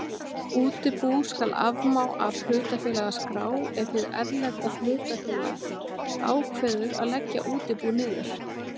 Útibú skal afmá af hlutafélagaskrá ef hið erlenda hlutafélag ákveður að leggja útibú niður.